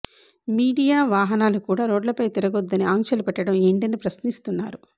media వాహనాలు కూడా రోడ్లపై తిరగొద్దని ఆంక్షలు పెట్టడం ఏంటని ప్రశ్నిస్తున్నారు